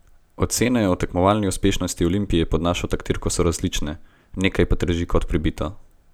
Ocene o tekmovalni uspešnosti Olimpije pod vašo taktirko so različne, nekaj pa drži kot pribito.